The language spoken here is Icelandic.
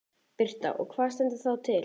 Birta: Og hvað stendur þá til?